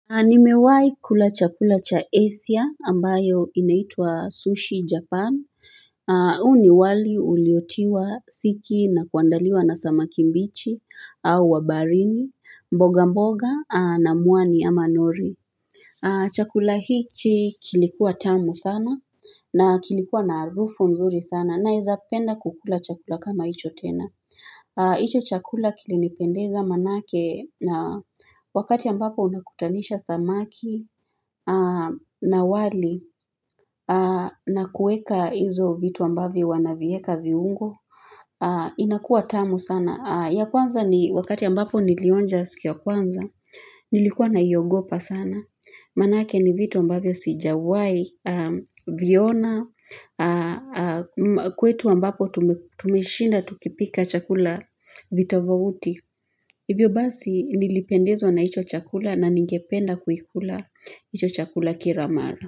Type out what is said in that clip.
Nimewahi kula chakula cha Asia, ambayo inaitwa Sushi Japan. Huu ni wali uliotiwa siki na kuandaliwa na samaki mbichi au wa baharini, mboga mboga na muani ama nori. Chakula hichi kilikuwa tamu sana na kilikuwa na harufu mzuri sana. Naweza penda kukula chakula kama hicho tena. Hicho chakula kilinipendeza maanake, wakati ambapo unakutanisha samaki na wali na kuweka hizo vitu ambavyo wanavieka viungo. Inakuwa tamu sana. Ya kwanza ni wakati ambapo nilionja suki ya kwanza, nilikuwa naiogopa sana. Maanake ni vitu ambavyo sijawahi, viona, kwetu ambapo tumeshinda tukipika chakula vitofauti. Hivyo basi nilipendezwa na hicho chakula na ningependa kuikula hicho chakula kira mara.